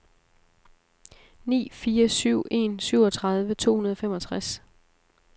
ni fire syv en syvogtredive to hundrede og femogtres